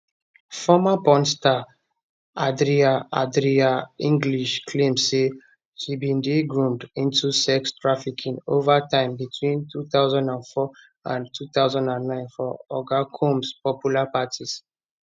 former porn star adria adria english claim say she bin dey groomed into sex trafficking over time between 2004 and 2009 for oga combs popular parties